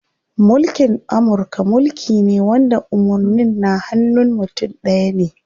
Mulkin Amurka mulki ne wanda umarnin na hanun mutum ɗaya ne.